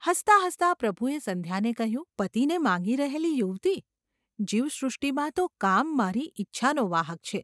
હસતાં હસતાં પ્રભુએ સંધ્યાને કહ્યું : ‘પતિને માગી રહેલી યુવતી, જીવ સૃષ્ટિમાં તો કામ મારી ઈચ્છાનો વાહક છે.